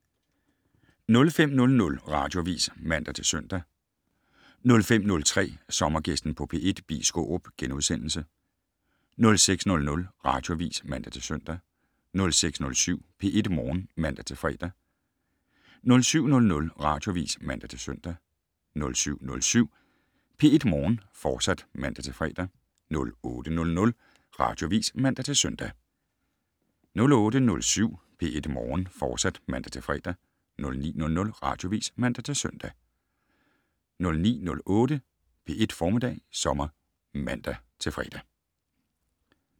05:00: Radioavis (man-søn) 05:03: Sommergæsten på P1: Bi Skaarup * 06:00: Radioavis (man-søn) 06:07: P1 Morgen (man-fre) 07:00: Radioavis (man-søn) 07:07: P1 Morgen, fortsat (man-fre) 08:00: Radioavis (man-søn) 08:07: P1 Morgen, fortsat (man-fre) 09:00: Radioavis (man-søn) 09:08: P1 Formiddag Sommer (man-fre)